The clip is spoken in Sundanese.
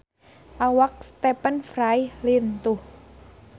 Awak Stephen Fry lintuh